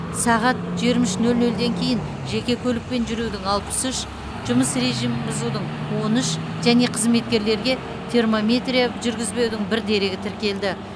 сағат жиырма үш нөл нөлден кейін жеке көлікпен жүрудің алпыс үш жұмыс режимін бұзудың он үш және қызметкерлерге термометрия жүргізбеудің бір дерегі тіркелді